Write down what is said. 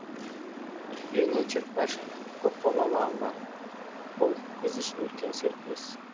евгения черкашина көпбалалы ана бұл біз үшін үлкен серпіліс